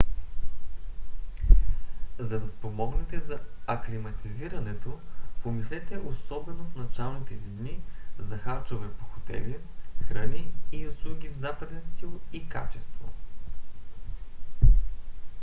за да спомогнете за аклиматизирането помислете особено в началните си дни за харчове по хотели храни и услуги в западен стил и качество